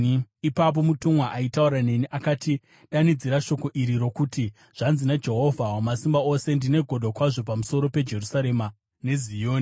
Ipapo mutumwa aitaura neni akati, “Danidzira shoko iri rokuti: Zvanzi naJehovha Wamasimba Ose: ‘Ndine godo kwazvo pamusoro peJerusarema neZioni,